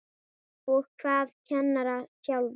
Og hvað kennara sjálfa?